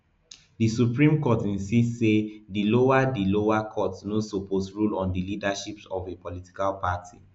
di supreme court insist say di lower di lower courts no suppose rule on di leadership of a political party